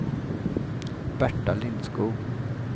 Berta Lindskog